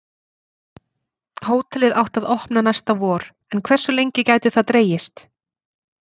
Hótelið átti að opna næsta vor en hversu lengi gæti það dregist?